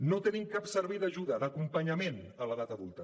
no tenim cap servei d’ajuda d’acompanyament a l’edat adulta